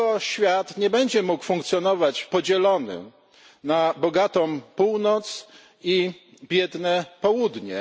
Świat nie będzie mógł funkcjonować długo będąc podzielonym na bogatą Północ i biedne Południe.